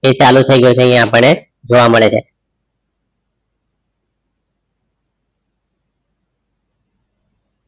એ ચાલું થઈ ગયો છે અહીં આપણે જોવા મળે છે.